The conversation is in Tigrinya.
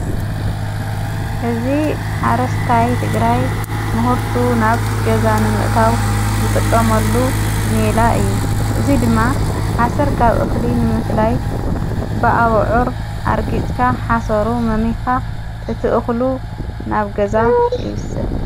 እዝ ሓረስታይ ትግራይ ምሁርቱ ናብ ገዛ ንምእታው ዘጠቀመሉ መላ እዩ እዙይ ድማ ሓሠር ካብ እኽሊ ንምፍላይ ብኣብዑር ኣርጊጽካ ሓሰሩ መሚኻ እትእኽሉ ናብ ገዛ እዩ ይዉሰድ።